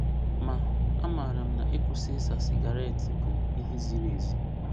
Ma, amara m na ịkwụsị ịsa sigaret bụ ihe ziri ezi.